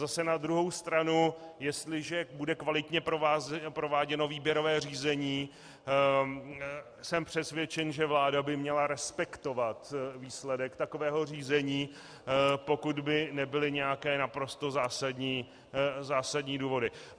Zase na druhou stranu jestliže bude kvalitně prováděno výběrové řízení, jsem přesvědčen, že vláda by měla respektovat výsledek takového řízení, pokud by nebyly nějaké naprosto zásadní důvody.